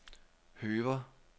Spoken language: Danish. Høver